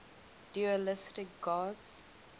dualistic gods